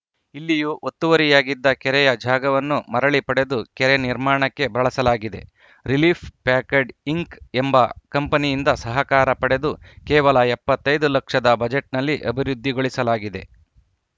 ಇಲ್ಲಿಯೂ ಒತ್ತುವರಿಯಾಗಿದ್ದ ಕೆರೆಯ ಜಾಗವನ್ನು ಮರಳಿ ಪಡೆದು ಕೆರೆ ನಿರ್ಮಾಣಕ್ಕೆ ಬಳಸಲಾಗಿದೆ ರಿಲಿಪ್‌ ಪ್ಯಾಕಡ್‌ ಇಂಕ್‌ ಎಂಬ ಕಂಪನಿಯಿಂದ ಸಹಕಾರ ಪಡೆದು ಕೇವಲ ಎಪ್ಪತ್ತ್ ಐದು ಲಕ್ಷದ ಬಜೆಟ್‌ನಲ್ಲಿ ಅಭಿವೃದ್ಧಿಗೊಳಿಸಲಾಗಿದೆ